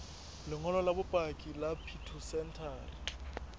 lengolo la bopaki la phytosanitary